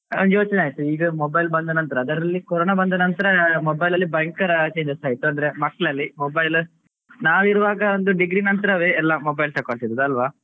ನಂಗೆ ಯೋಚನೆ ಆಯ್ತು ಈ mobile ಬಂದ ನಂತರ ಅದರಲ್ಲಿ ಕರೋನ ಬಂದ ನಂತರ mobile ಅಲ್ಲಿ ಭಯಂಕರ changes ಆಯ್ತು ಅಂದ್ರೆ ಮಕ್ಕಳಲ್ಲಿ mobile ನಾವಿರುವಾಗ ಒಂದ್ degree ನಂತರವೇ ಎಲ್ಲ mobile ತಗೊಳ್ತಿದ್ದದ್ದು ಅಲ್ವಾ